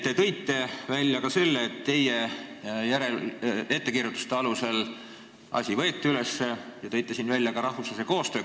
Teiseks, mainisite ka seda, et teie ettekirjutuste alusel võeti asi üles, ja tõite esile rahvusvahelise koostöö.